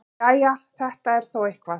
Jæja, þetta er þó eitthvað.